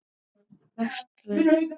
Vesturvör